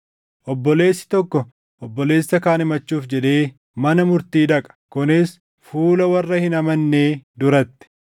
Obboleessi tokko obboleessa kaan himachuuf jedhee mana murtii dhaqa; kunis fuula warra hin amannee duratti!